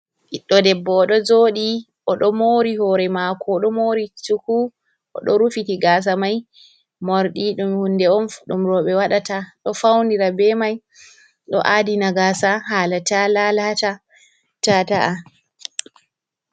Ɓiddo debbo, odo joɗi oɗo mori hore mako, oɗo mori cuku, oɗo rufiti gasa mai. Morɗi ɗum hunde on, ɗum roɓe waɗata, ɗo faunira be mai, ɗo adina gasa hala ta lalata ta ta’a.